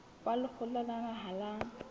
wa lekgotla la naha la